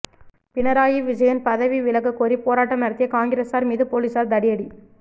பினராயி விஜயன் பதவி விலக கோரி போராட்டம் நடத்திய காங்கிரசார் மீது போலீசார் தடியடி